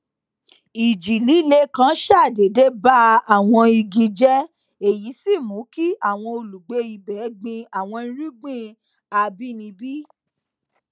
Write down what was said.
ìjì líle kan ṣàdédé ba àwọn igi jé èyí sì mú kí àwọn olùgbé ibè gbin àwọn irúgbìn àbínibí